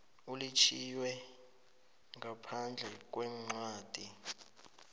elitjhiywe ngaphandle kwencwadi